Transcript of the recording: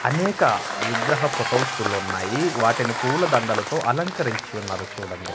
అనేక విగ్రహ ఫొటోసులున్నాయి వాటిని పూలదండలతో అలంకరించి ఉన్నారు చూడండి.